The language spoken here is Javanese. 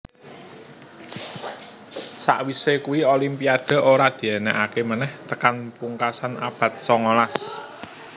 Sakwise kui Olimpiade ora diènèkaké menèh tekan pungkasan abad songolas